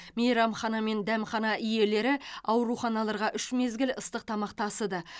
мейрамхана мен дәмхана иелері ауруханаларға үш мезгіл ыстық тамақ тасыды